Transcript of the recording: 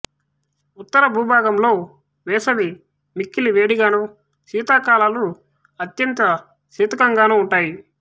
ఉత్తర భూభాగంలో వేసవి మిక్కిలి వేడిగానూ శీతాకాలాలు అత్యంత శీతకంగానూ ఉంటాయి